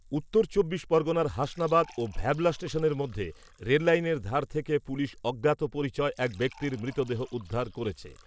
উত্তর চব্বিশ পরগনার হাসনাবাদ ও ভ্যাবলা স্টেশনের মধ্যে রেললাইনের ধার থেকে পুলিশ অজ্ঞাত পরিচয় এক ব্যক্তির মৃতদেহ উদ্ধার করেছে।